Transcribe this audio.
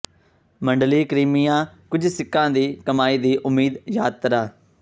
ਮੰਡਲੀ ਕ੍ਰੀਮੀਆ ਕੁਝ ਸਿੱਕਾ ਦੀ ਕਮਾਈ ਦੀ ਉਮੀਦ ਯਾਤਰਾ